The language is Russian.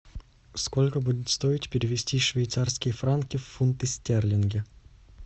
сколько будет стоить перевести швейцарские франки в фунты стерлинги